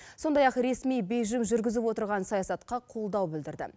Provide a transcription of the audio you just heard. сондай ақ ресми бейжің жүргізіп отырған саясатқа қолдау білдірді